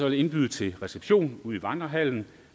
jeg indbyde til reception i vandrehallen